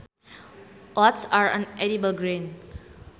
Oats are an edible grain